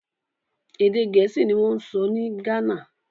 Èdè Gẹ̀ẹ́sì ni wọ́n ń sọ ní Ghana